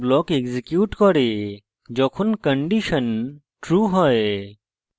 যখন একটি condition true হয়